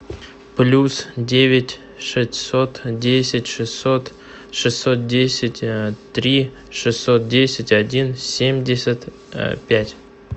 плюс девять шестьсот десять шестьсот шестьсот десять три шестьсот десять один семьдесят пять